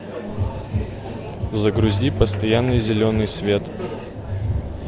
загрузи постоянный зеленый свет